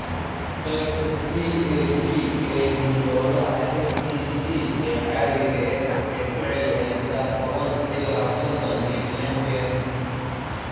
Qaybta CAG ee hiddo-wadaha HTT ee caadiga ah waxay ku celcelisaa tobaan ila sodhon iyo shan jeer.